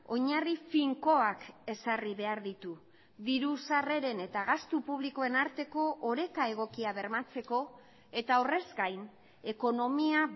oinarri finkoak ezarri behar ditu diru sarreren eta gastu publikoen arteko oreka egokia bermatzeko eta horrez gain ekonomia